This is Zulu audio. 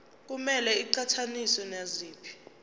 kumele iqhathaniswe naziphi